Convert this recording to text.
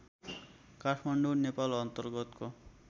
काठमाडौँ नेपाल अन्तर्गतको